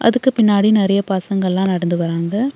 அதுக்கு பின்னாடி நெறைய பசங்கல்லா நடந்து வராங்க.